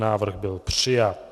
Návrh byl přijat.